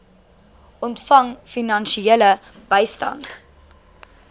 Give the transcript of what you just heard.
ontvang finansiële bystand